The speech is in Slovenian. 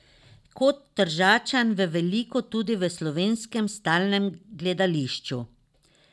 Kot Tržačan veliko tudi v Slovenskem stalnem gledališču.